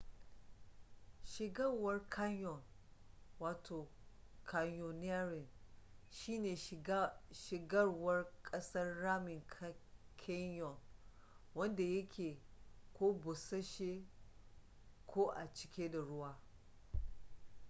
shigarwar canyon ko: canyoneering shi ne shigarwar ƙasan ramin canyon wanda yake ko bussashe ko a cike da ruwa